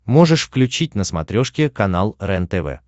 можешь включить на смотрешке канал рентв